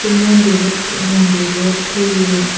ye mondir bot mondir bot toye.